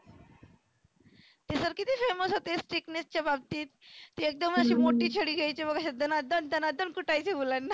ते sir किती famous होते strictness च्या बाबतीत एकदम अशी मोठी छ्डी घ्यायचे बघ हे दना दन दना दन कुटायचे मुलांना.